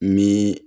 Ni